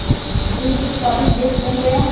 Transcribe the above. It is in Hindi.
दुग्ध उत्पादक देश बन गया